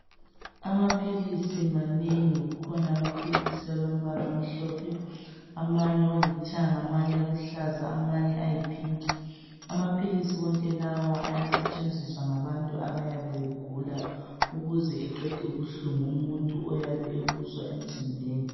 Amaphilisi manengi kukhona amaphilisi alombala omhlophe amanye olithanga amanye aluhlaza amanye ayi pink amaphilisi wonke lawa ayasetshenziswa ngabantu abayabe begula ukuze eqede ubuhlungu umuntu oyabe ebuzwa emzimbeni.